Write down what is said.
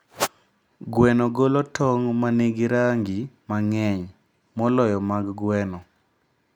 Gweno golo tong' ma nigi rangi mang'eny moloyo mag gweno.